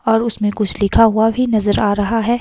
और उसमें कुछ लिखा हुआ भी नजर आ रहा है।